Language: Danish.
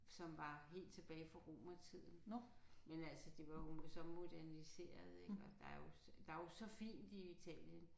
Som var helt tilbage fra romertiden. Men altså det var jo så moderniseret ik og der er jo der er jo så fint i Italien